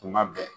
Tuma bɛɛ